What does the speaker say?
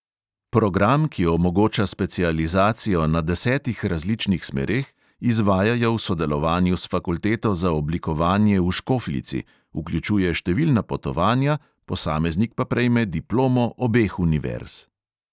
Program, ki omogoča specializacijo na desetih različnih smereh, izvajajo v sodelovanju s fakulteto za oblikovanje v škofljici, vključuje številna potovanja, posameznik pa prejme diplomo obeh univerz.